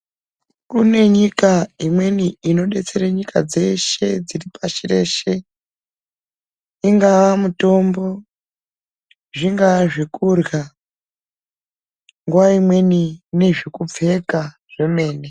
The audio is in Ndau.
Kune nyika imweni inodetsere nyika dzeshe dziri pashi reshe, ingaa mitombo, zvingaa zvekurya, nguva imweni nezvekupfeka zvemene.